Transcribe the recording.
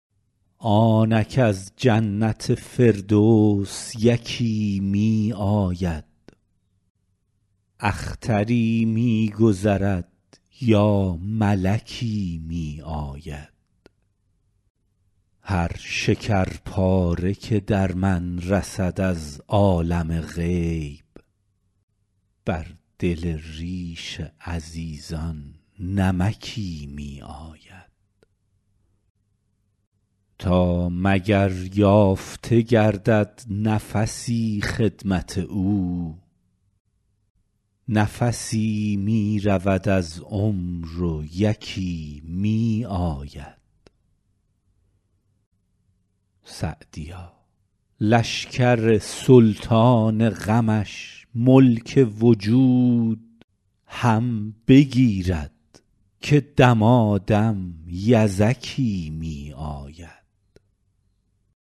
آنک از جنت فردوس یکی می آید اختری می گذرد یا ملکی می آید هر شکرپاره که در می رسد از عالم غیب بر دل ریش عزیزان نمکی می آید تا مگر یافته گردد نفسی خدمت او نفسی می رود از عمر و یکی می آید سعدیا لشکر سلطان غمش ملک وجود هم بگیرد که دمادم یزکی می آید